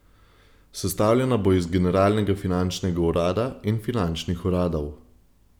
Sestavljena bo iz generalnega finančnega urada in finančnih uradov.